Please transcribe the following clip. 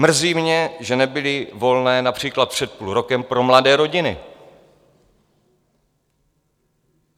Mrzí mě, že nebyly volné například před půl rokem pro mladé rodiny.